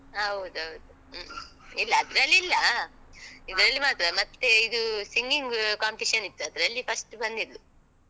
ಹೌದೌದು. ಹ್ಮ. ಇಲ್ಲ ಅದ್ರಲ್ಲಿಲ್ಲ. ಇಲ್ಲಾ ಇದ್ರಲ್ಲಿ ಮಾತ್ರ ಮತ್ತೆ ಇದು singing competition ಇತ್ತು. ಅದ್ರಲ್ಲಿ first ಬಂದಿದ್ಲು.